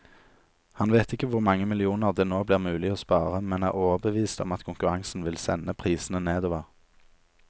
Han vet ikke hvor mange millioner det nå blir mulig å spare, men er overbevist om at konkurransen vil sende prisene nedover.